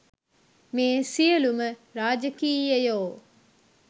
මේ සියලුම රාජකීයයෝ